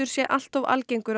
sé allt of algengur